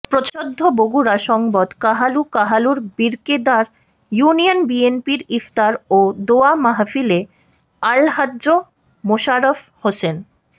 প্রচ্ছদ বগুড়া সংবাদ কাহালু কাহালুর বীরকেদার ইউনিয়ন বিএনপির ইফতার ও দোয়া মাহফিলে আলহাজ্ব মোশারফ হোসেন